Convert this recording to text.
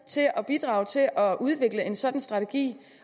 at bidrage til at udvikle en sådan strategi